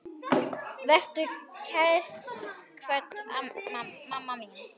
Vertu kært kvödd, mamma mín.